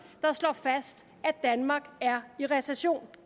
der slår fast at danmark er i recession